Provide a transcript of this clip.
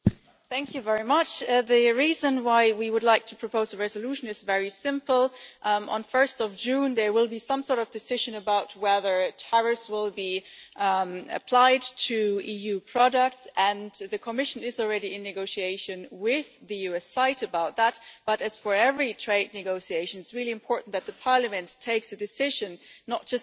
Mr President, the reason why we would like to propose a resolution is very simple on 1 June, there will be some sort of decision about whether tariffs will be applied to EU products, and the Commission is already in negotiation with the US side about that, but as with every trade negotiation, it is really important that Parliament takes a decision and does not just hold a debate.